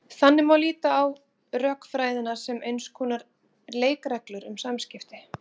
Þannig má líta á rökfræðina sem eins konar leikreglur um samskipti.